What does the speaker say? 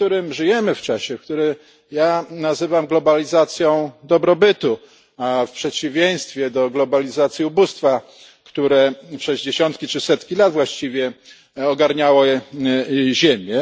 Żyjemy w czasie, który ja nazywam globalizacją dobrobytu, w przeciwieństwie do globalizacji ubóstwa, które przez dziesiątki czy setki lat właściwie ogarniało Ziemię.